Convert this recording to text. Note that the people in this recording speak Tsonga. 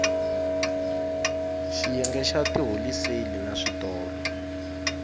xiyenge xa tiholiseli na switolo